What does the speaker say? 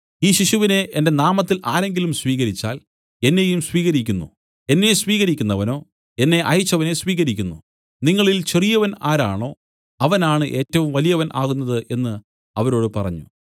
ഈ ശിശുവിനെ എന്റെ നാമത്തിൽ ആരെങ്കിലും സ്വീകരിച്ചാൽ എന്നെയും സ്വീകരിക്കുന്നു എന്നെ സ്വീകരിക്കുന്നവനോ എന്നെ അയച്ചവനെ സ്വീകരിക്കുന്നു നിങ്ങളിൽ ചെറിയവൻ ആരാണോ അവനാണ് ഏറ്റവും വലിയവൻ ആകുന്നത് എന്നു അവരോട് പറഞ്ഞു